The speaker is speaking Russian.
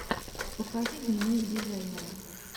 покажи дневник дизайнера